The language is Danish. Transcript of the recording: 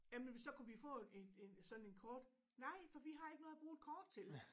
Jamen så kunne vi få en en sådan en kort nej for vi har ikke noget at bruge et kort til